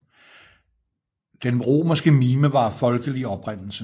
Den romerske mime var af folkelig oprindelse